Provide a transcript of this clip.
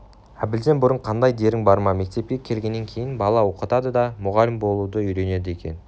әбілден бұрын қандай дерің бар ма мектепке келгеннен кейін бала оқытады да мұғалім болуды үйренеді екен